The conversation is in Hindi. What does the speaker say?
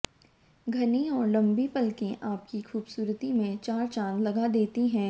घनी और लंबी पलकें आपकी खूबसूरती में चार चांद लगा देती हैं